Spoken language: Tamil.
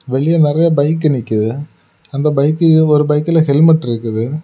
வெளிய நிறைய பைக் நிக்குது அந்த பைக்கு ஒரு பைக் ஹெல்மெட் இருக்குது.